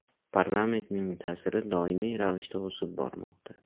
Parlamentning ta’siri doimiy ravishda o‘sib bormoqda.